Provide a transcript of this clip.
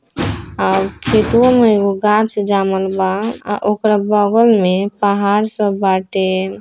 और खेतू में एगो गाछ ओकरा बगल में पहाड़ सब बाटे।